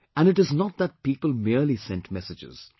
And it is not that people merely sent messages